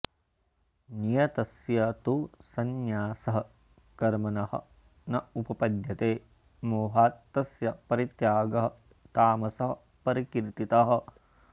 नियतस्य तु सन्न्यासः कर्मणः न उपपद्यते मोहात् तस्य परित्यागः तामसः परिकीर्तितः